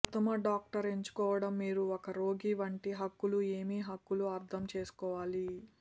ఉత్తమ డాక్టర్ ఎంచుకోవడం మీరు ఒక రోగి వంటి హక్కులు ఏమి హక్కులు అర్థం చేసుకోవాలి